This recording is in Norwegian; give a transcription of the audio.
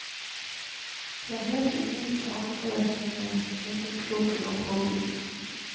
Det er helt unikt med alle sine krinkelkroker og påbygg.